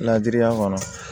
Ladiriya kɔnɔ